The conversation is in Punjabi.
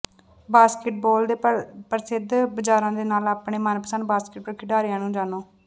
ਬਾਸਕੇਟਬਾਲ ਦੇ ਪ੍ਰਸਿੱਧ ਬਾਜ਼ਾਰਾਂ ਦੇ ਨਾਲ ਆਪਣੇ ਮਨਪਸੰਦ ਬਾਸਕਟਬਾਲ ਖਿਡਾਰੀਆਂ ਨੂੰ ਜਾਣੋ